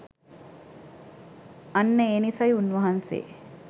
අන්න ඒ නිසයි උන්වහන්සේ